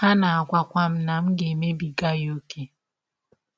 Ha na - agwakwa m na m na - emebiga ya ọ́kè.